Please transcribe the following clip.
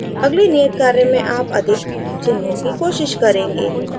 अगले नियत कार्य में आप अधिक चिन्हों की कोशिश करेंगे